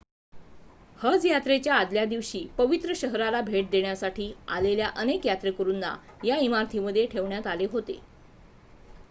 हज यात्रेच्या आदल्यादिवशी पवित्र शहराला भेट देण्यासाठी आलेल्या अनेक यात्रेकरूंना या इमारतीमध्ये ठेवण्यात आले होते